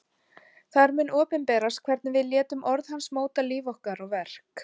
Þar mun opinberast hvernig við létum orð hans móta líf okkar og verk.